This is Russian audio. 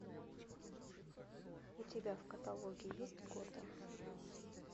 у тебя в каталоге есть готэм